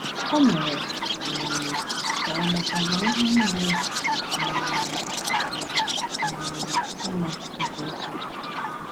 Ọ mere um ka ọ mata na ihe niile um “dị um mma nke ukwuu.”